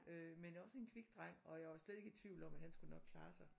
Øh men også en kvik dreng og jeg var slet ikke i tvivl om at han skulle nok klare sig